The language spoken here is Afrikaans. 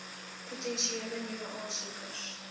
potensiële nuwe aansoekers